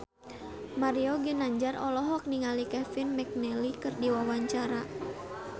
Mario Ginanjar olohok ningali Kevin McNally keur diwawancara